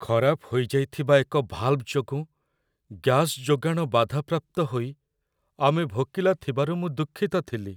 ଖରାପ ହୋଇଯାଇଥିବା ଏକ ଭଲ୍‌ଭ୍‌ ଯୋଗୁଁ ଗ୍ୟାସ୍ ଯୋଗାଣ ବାଧାପ୍ରାପ୍ତ ହୋଇ ଆମେ ଭୋକିଲା ଥିବାରୁ ମୁଁ ଦୁଃଖିତ ଥିଲି।